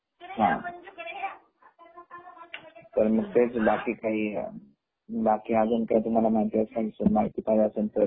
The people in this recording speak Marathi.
तर मग आणखी काही माहिती पाहिजे असेल तर